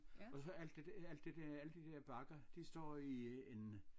Og så alt det der alt det der alle de der bakker de står i en